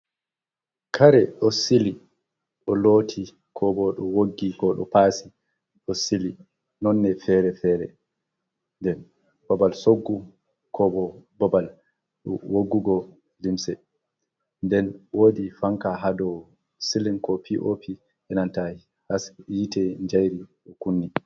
Kare ɗo sili, ɗo looti koo boo ɗo woggi, koo ɗo paasi, ɗo sili nonne feere-feere. Nden babal soggu koo boo babal woggugo limse, nden woodi fanka ha dow silin ko pi'o'pi enanta yaasi yi'ete njairi ɗo kunni.